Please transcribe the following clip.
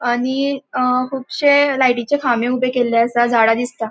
आणि अ कूबशे लाईटीचे खामे उबे केल्ले असा झाडा दिसता.